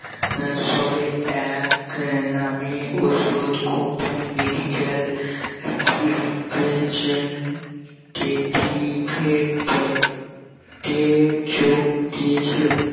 আহ সবে এক নামে ঔষধ company medical representative এর পদে যোগ দিয়েছিল